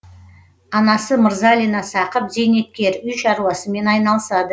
анасы мырзалина сақып зейнеткер үй шаруасымен айналысады